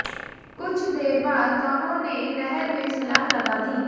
कुछ देर बाद दोनों ने नहर में छलांग लगा दी